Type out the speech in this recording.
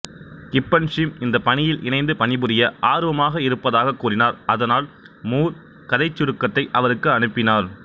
கிப்பன்ஸும் இந்தப் பணியில் இணைந்து பணிபுரிய ஆர்வமாக இருப்பதாகக் கூறினார் அதனால் மூர் கதைச் சுருக்கத்தை அவருக்கு அனுப்பினார்